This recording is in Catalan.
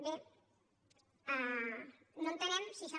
bé no entenem si això